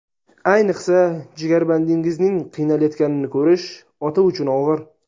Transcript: Ayniqsa, jigarbandingizning qiynalayotganini ko‘rish ota uchun og‘ir.